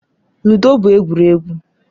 Ludo bụ egwuregwu.